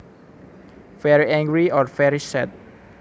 Very angry or very sad